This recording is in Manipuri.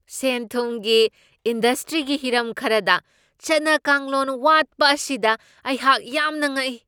ꯁꯦꯟ ꯊꯨꯝꯒꯤ ꯏꯟꯗꯁꯇ꯭ꯔꯤꯒꯤ ꯍꯤꯔꯝ ꯈꯔꯗ ꯆꯠꯅ ꯀꯥꯡꯂꯣꯟ ꯋꯥꯠꯄ ꯑꯁꯤꯗ ꯑꯩꯍꯥꯛ ꯌꯥꯝꯅ ꯉꯛꯏ꯫